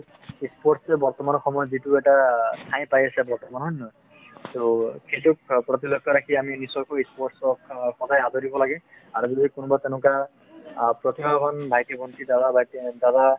sports এ বৰ্তমান সময়ত যিটো এটা ঠাই পাই আছে বৰ্তমান হয় নে নহয়? so সেইটোৰ প্ৰতি লক্ষ্য ৰাখি আমি নিশ্চয় কৈ sports ক আদৰিব লাগে আৰু যদি কোনোবা তেনেকুৱা অ প্ৰতিভাবান ভাইটি ভন্টি দাদা বাইটি দাদা ।